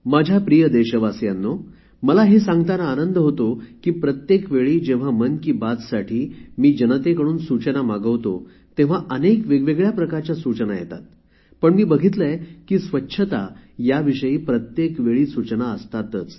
माझ्या प्रिय देशवासियांनो मला हे सांगताना आनंद होतो की प्रत्येक वेळी जेव्हा मन की बातसाठी मी जनतेकडून सूचना मागवतो तेव्हा अनेक वेगवेगळ्या प्रकारच्या सूचना येतात पण मी बघितले आहे की स्वच्छता याविषयी प्रत्येक वेळी सूचना असतातच